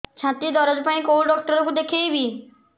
ଛାତି ଦରଜ ପାଇଁ କୋଉ ଡକ୍ଟର କୁ ଦେଖେଇବି